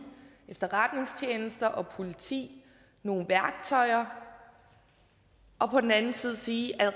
efterretningstjenester og politi nogle værktøjer og på den anden side sige at